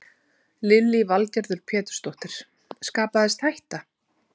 Lillý Valgerður Pétursdóttir: Skapaðist hætta?